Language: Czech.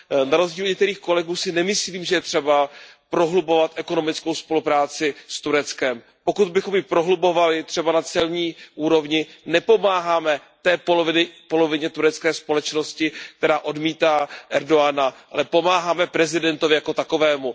Na rozdíl od některých kolegů si nemyslím, že je třeba prohlubovat ekonomickou spolupráci s Tureckem. Pokud bychom ji prohlubovali, třeba na celní úrovni, nepomáháme té polovině turecké společnosti, která odmítá Erdogana, ale pomáháme prezidentovi jako takovému.